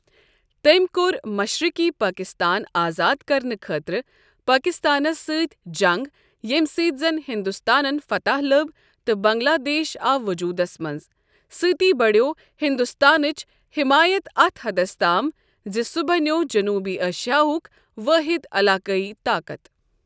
تٔمۍ کوٚر مشرقی پٲکستان آزاد کرنہٕ خٲطرٕ پٲکستانس سۭتۍ جنگ، ییمہِ سۭتۍ زن ہندوستانن فتح لٔب تہٕ بنگلہ دیش آو وجوٗدس منٛز، سۭتۍ بڑیو ہندوستانٕچ حمایت اتھ حدس تام زِ سۄ بنیو جنوبی ایشاہُک وٲحد علاقٲئی طاقت۔